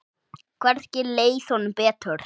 Hvergi leið honum betur.